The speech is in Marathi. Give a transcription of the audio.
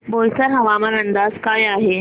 बोईसर हवामान अंदाज काय आहे